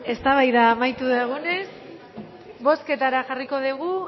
eztabaida amaitu dugunez bozketara jarriko dugu